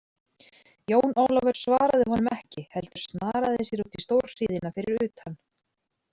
Jón Ólafur svaraði honum ekki heldur snaraði sér út í stórhríðina fyrir utan.